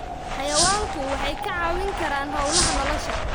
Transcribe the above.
Xayawaanku waxay kaa caawin karaan hawlaha nolosha.